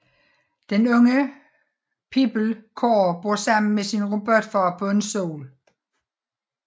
Den unge pige Core bor sammen med sin robotfar på en sol